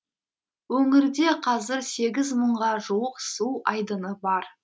өңірде қазір сегіз мыңға жуық су айдыны бар